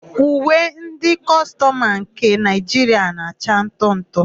Uwe ndị kọstọmụ nke Naịjiria na-acha ntụ ntụ.